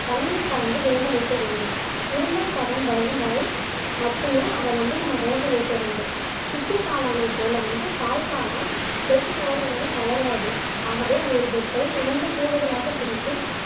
தண்ணீர் கலந்து வேக வைக்க வேண்டும் உருண்டை பதம் வரை மட்டுமே அதை வந்து நம்ம வேக வைக்க வேண்டும் சிப்பி காளானை போல வந்து பால் காளான் வெட்டு ஓரங்களில் வளராது ஆகவே ஒரு பெட்டை இரண்டு கூறுகளாக பிரித்து